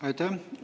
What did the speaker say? Aitäh!